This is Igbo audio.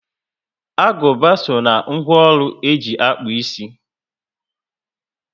Aguba so ná ńgwọ ọrụ e ji akpu ịsị